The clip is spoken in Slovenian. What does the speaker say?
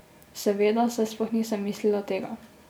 Seveda, saj sploh nisem mislila tega.